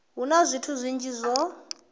hu na zwithu zwinzhi zwo